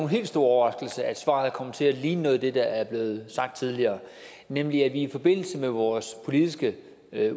helt stor overraskelse at svaret kommer til at ligne noget af det der er blevet sagt tidligere nemlig at vi i forbindelse med vores politiske